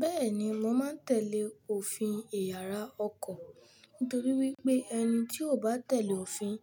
Bẹ́ẹ̀ni, mo máa ń tẹ̀lé òfin ìyára ọkọ̀ nítorí wípé ẹni tí ò bá tẹ̀lé òfin,